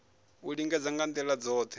u lingedza nga ndila dzothe